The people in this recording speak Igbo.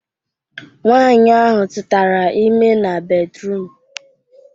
Nwaanyi ahụ tụtara ime na bedruum